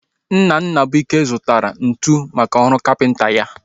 Nna Nnabuike zụtara ntụ maka ọrụ kapịnta ya